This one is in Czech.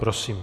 Prosím.